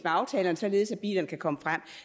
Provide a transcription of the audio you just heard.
aftalerne således at bilerne kan komme frem